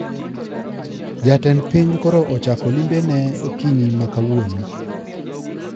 Ja-tend piny koro ochako limbe ne okinyi ma kawuono